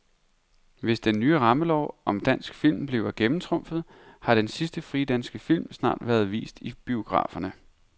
Hvis den nye rammelov om dansk film bliver gennemtrumfet, har den sidste frie dansk film snart været vist i biograferne.